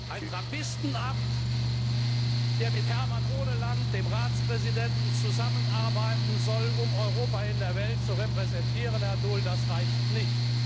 Ein Trappistenabt, der mit Herman Ohneland, dem Ratspräsidenten, zusammenarbeiten soll, um Europa in der Welt zu repräsentieren Herr Daul, das reicht nicht.